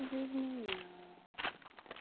без меня